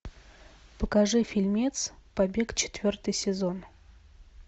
покажи фильмец побег четвертый сезон